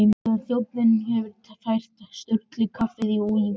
Þegar þjónninn hefur fært Sturlu kaffið og viskíið, og